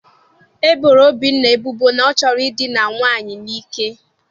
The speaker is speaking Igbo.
E boro Obinna ebubo na ọ chọrọ idina nwaanyị n'ike.